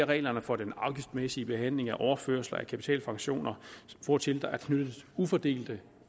reglerne for den afgiftsmæssige behandling af overførsler af kapitalpensioner hvortil der er knyttet ufordelte